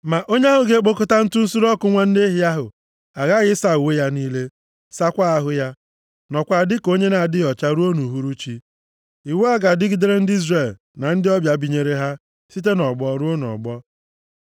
Ma onye ahụ ga-ekpokọta ntụ nsure ọkụ nwa nne ehi ahụ aghaghị ịsa uwe ya niile, sakwaa ahụ ya, nọkwaa dịka onye na-adịghị ọcha ruo nʼuhuruchi. Iwu a ga-adịgidere ndị Izrel na ndị ọbịa binyere ha site nʼọgbọ ruo nʼọgbọ.